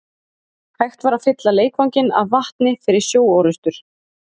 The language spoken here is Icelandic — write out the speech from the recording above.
Hægt var að fylla leikvanginn af vatni fyrir sjóorrustur.